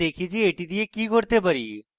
এখন দেখি যে আমি এটি দিয়ে কি করতে পারি